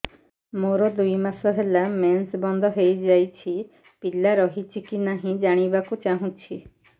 ମୋର ଦୁଇ ମାସ ହେଲା ମେନ୍ସ ବନ୍ଦ ହେଇ ଯାଇଛି ପିଲା ରହିଛି କି ନାହିଁ ଜାଣିବା କୁ ଚାହୁଁଛି